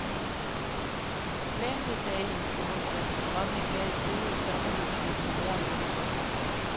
Glem det, sagde hendes store søn, som om han gad sidde i et sommerhus med sin mor og lillesøster.